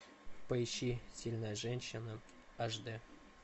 поищи сильная женщина аш дэ